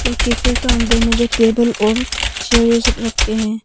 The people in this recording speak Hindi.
ये कैफे का अंदर में जो टेबल और चेयर ये सब रख के हैं।